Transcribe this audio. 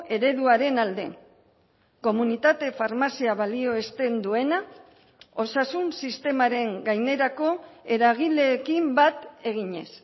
ereduaren alde komunitate farmazia balioesten duena osasun sistemaren gainerako eragileekin bat eginez